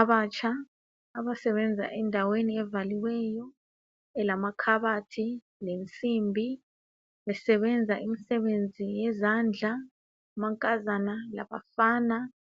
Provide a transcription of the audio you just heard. Abatsha abasebenza endaweni evaliweyo elamakhabathi lensimbi besebenza imisebenzi yezandla amankazana labafana